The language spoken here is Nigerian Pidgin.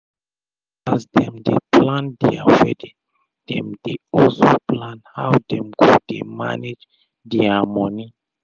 as dem dey plan dia wedding dem dey also plan how dem go dey manage dia moni